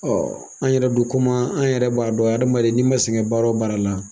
an yɛrɛ dun komi an yɛrɛ b'a dɔn adamaden n'i ma sɛgɛn baara o baara la